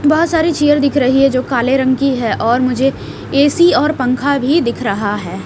बहुत सारी चेयर दिख रही है जो काले रंग की है और मुझे ए_सी और पंखा भी दिख रहा है।